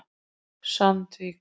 Sandvík